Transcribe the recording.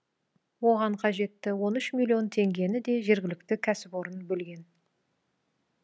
оған қажетті он үш миллион теңгені де жергілікті кәсіпорын бөлген